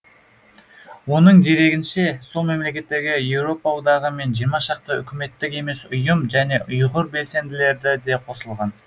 оның дерегінше сол мемлекеттерге еуропа одағы мен жиырма шақты үкіметтік емес ұйым және ұйғыр белсенділері де қосылған